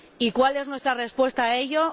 ¿Y cuál es nuestra respuesta a ello?